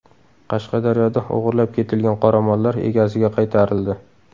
Qashqadaryoda o‘g‘irlab ketilgan qoramollar egasiga qaytarildi.